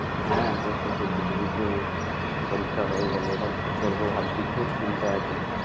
হ্যাঁ তো শেষের দিকে এইতো পরীক্ষা হয়ে গেল এবার কি করবো ভাবছি খুব চিন্তায় আছি।